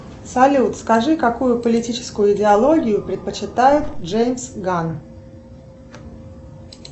салют скажи какую политическую идеологию предпочитает джеймс ган